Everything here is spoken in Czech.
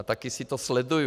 A taky si to sleduju.